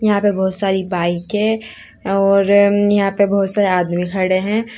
यहां पे बहोत सारी बाईके और यहां पर बहोत सारे आदमी खड़े हैं।